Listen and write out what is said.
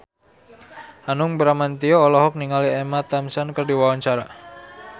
Hanung Bramantyo olohok ningali Emma Thompson keur diwawancara